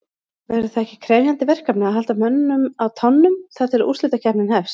Verður það ekki krefjandi verkefni að halda mönnum á tánum þar til að úrslitakeppnin hefst?